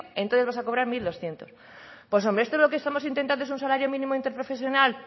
entonces vas a cobrar mil doscientos pues hombre esto es lo que estamos intentando es un salario mínimo interprofesional